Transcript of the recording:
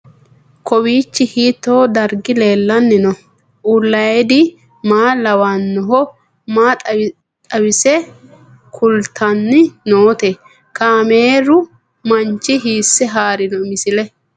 Kowiicho hiito dargi leellanni no ? ulayidi maa lawannoho ? maa xawisse kultanni noote ? kaameru manchi hiisse haarino misileeti?